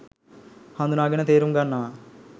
හඳුනාගෙන තේරුම් ගන්නවා.